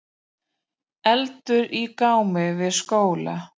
Eldur í gámi við skóla